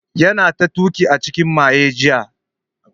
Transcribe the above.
Yana ta tuki a cikin maye jiya